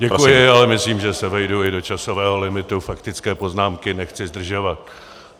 Děkuji, ale myslím, že se vejdu i do časového limitu faktické poznámky, nechci zdržovat.